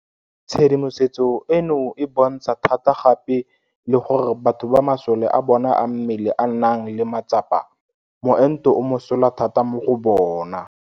Tshedimosetso eno e bontsha thata gape le gore batho ba masole a bona a mmele a nang le matsapa moento o mosola thata mo go bona.